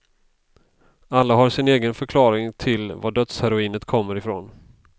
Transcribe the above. Alla har sin egen förklaring till vad dödsheroinet kommer ifrån.